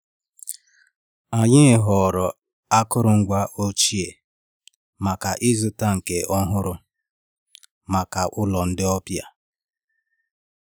M kwere inye aka, n’agbanyeghị na ọ bụghị ọrụ m, naanị iji kwado.